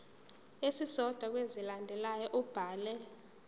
esisodwa kwezilandelayo ubhale